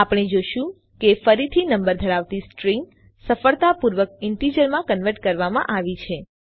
આપણે જોશું કે ફરીથી નંબર ધરાવતી સ્ટ્રિંગ સફળતાપૂર્વક ઈન્ટીજરમાં કન્વર્ટ કરવામાં આવી છે